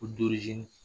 Ko